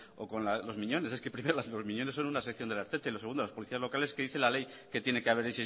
o con los miñones es que primero los miñones son una sección de la ertzaintza y lo segundo las policías locales que dice la ley que tiene que